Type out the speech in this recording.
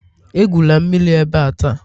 Egwula mmiri ebe a taa!